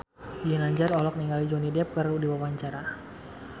Ginanjar olohok ningali Johnny Depp keur diwawancara